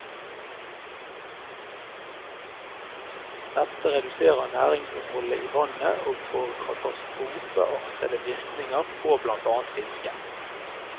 Dette reduserer næringsinnholdet i vannet og får katastrofeartete virkninger på blant annet fisket.